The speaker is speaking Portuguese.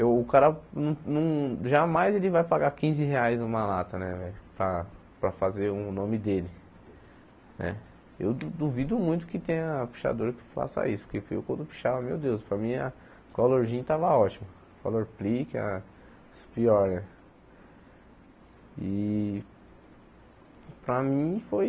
Eu o cara não não, jamais ele vai pagar quinze reais numa lata né velho para para fazer o nome dele né eu duvido muito que tenha pichador que faça isso, porque eu quando eu pichava, meu Deus, para mim a Colorgen tava ótima, a Colorplique, as pior e para mim foi...